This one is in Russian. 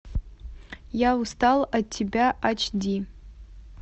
я устал от тебя ач ди